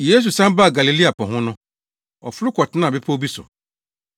Yesu san baa Galilea po no ho. Ɔforo kɔtenaa bepɔw bi so.